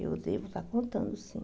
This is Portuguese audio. Eu devo estar contando, sim.